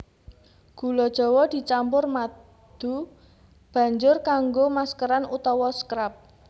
Gula jawa dicampur madu banjur kanggo maskeran utawa scrub